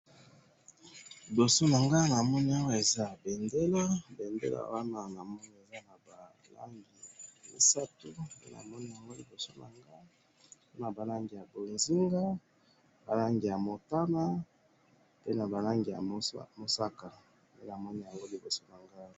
Liboso na nga awa ,namoni awa eza bendele ,bendele wana namoni eza na ba langi misatu nde namoni yango liboso na nga, na ba langi ya bonzinga, ba langi yo motana pe na ba langi ya mosaka ,nde namoni yango liboso na ngai